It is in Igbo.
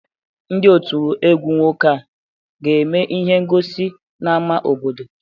Ndị ọtụ̀ egwu nwoke a ga-eme ihe ngọsi n'ámá obodo?